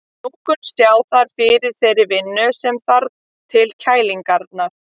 Lungun sjá þar fyrir þeirri vinnu sem þarf til kælingarinnar.